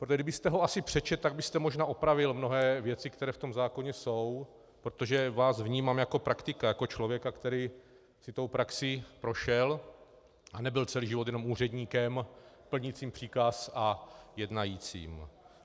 Protože kdybyste si ho přečetl, tak byste možná opravil mnohé věci, které v tom zákoně jsou, protože vás vnímám jako praktika, jako člověka, který si tou praxí prošel a nebyl celý život jenom úředníkem plnícím příkaz a jednajícím.